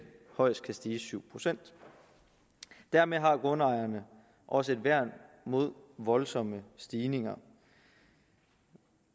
højst kan stige med syv procent dermed har grundejerne også et værn mod voldsomme stigninger